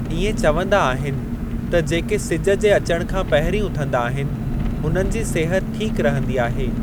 इएं चवंदा आहिनि त जेके सिज जे अचण खां पंहिरीं उथंदा आहिनि हुननि जी सिहत ठीक रहंदी आहे।